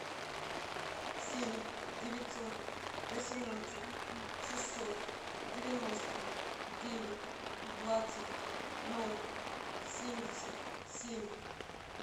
семь девятьсот восемнадцать шестьсот девяносто девять двадцать ноль семьдесят семь